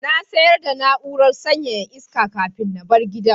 Na sayar da na'urar sanyaya iska kafin na bar gidan.